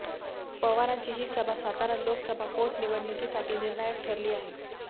पवारांची ही सभा सातारा लोकसभा पोटनिवडणुकीसाठी निर्णायक ठरली आहे